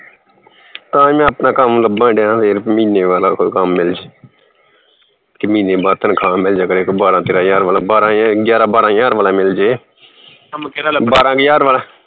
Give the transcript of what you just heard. ਤਾਹੀ ਮੈਂ ਆਪਣਾ ਕੰਮ ਲੱਭਣ ਦਿਆ ਫਿਰ ਮਹੀਨੇ ਵਾਲਾ ਕੋਈ ਕੰਮ ਮਿਲਜੇ ਕਿ ਮਹੀਨੇ ਬਾਅਦ ਤਨਖਾਹ ਮਿਲ ਜਾਇਆ ਕਰੇ ਕੋਈ ਬਾਰਾਂ ਤੇਰਾ ਹਜਾਰ ਵਾਲਾ ਬਾਰਾਂ ਗਿਆਰਾ ਬਾਰਾ ਹਜਾਰ ਵਾਲਾ ਈ ਮਿਲ ਜੇ ਬਾਰਾਂ ਕਿ ਹਜਾਰ ਵਾਲਾ